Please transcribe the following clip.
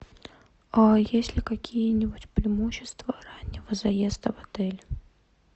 а есть ли какие нибудь преимущества раннего заезда в отель